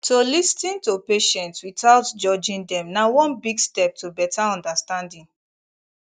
to lis ten to patient without judging dem na one big step to better understanding